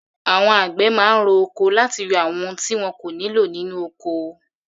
Àwọn àgbẹ̀ máa ń ro oko láti yọ àwọn ohun tí wọn kò nílò nínú ọkọ.